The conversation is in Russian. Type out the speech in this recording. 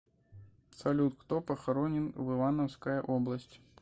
салют кто похоронен в ивановская область